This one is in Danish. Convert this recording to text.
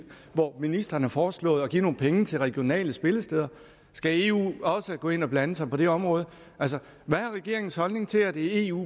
hvor ministeren har foreslået at give nogle penge til regionale spillesteder skal eu også gå ind og blande sig på det område hvad er regeringens holdning til at eu